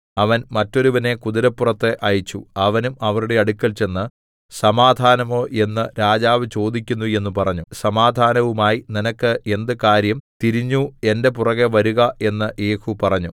അവൻ മറ്റൊരുവനെ കുതിരപ്പുറത്ത് അയച്ചു അവനും അവരുടെ അടുക്കൽ ചെന്ന് സമാധാനമോ എന്ന് രാജാവ് ചോദിക്കുന്നു എന്ന് പറഞ്ഞു സമാധാനവുമായി നിനക്ക് എന്ത് കാര്യം തിരിഞ്ഞു എന്റെ പുറകെ വരുക എന്ന് യേഹൂ പറഞ്ഞു